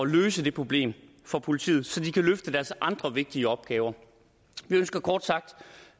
løse problemet for politiet så de kan løfte deres andre vigtige opgaver vi ønsker kort sagt